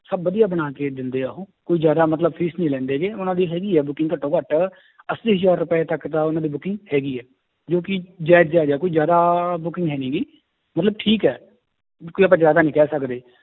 ਸਭ ਵਧੀਆ ਬਣਾ ਕੇ ਦਿੰਦੇ ਆ ਉਹ ਕੁੱਝ ਜ਼ਿਆਦਾ ਮਤਲਬ fees ਨੀ ਲੈਂਦੇ ਗੇ ਉਹਨਾਂ ਦੀ ਹੈਗੀ ਹੈ booking ਘੱਟੋ ਘੱਟ ਅੱਸੀ ਹਜ਼ਾਰ ਰੁਪਏ ਤੱਕ ਤਾਂ ਉਹਨਾਂ ਦੀ booking ਹੈਗੀ ਹੈ ਜੋ ਕਿ ਜਾਇਜ਼ ਜਾਇਜ਼ ਹੈ ਕੋਈ ਜ਼ਿਆਦਾ booking ਹੈ ਨੀ ਗੀ, ਮਤਲਬ ਠੀਕ ਹੈ ਕੋਈ ਆਪਾਂ ਜ਼ਿਆਦਾ ਨੀ ਕਹਿ ਸਕਦੇ